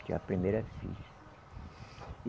Tinha a primeira filha.